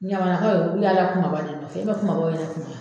Ɲamanakaw ulu y'a la kumaba de nɔfɛ i man kumabaw ye ne kun na.